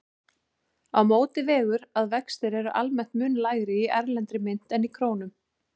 Á móti vegur að vextir eru almennt mun lægri í erlendri mynt en í krónum.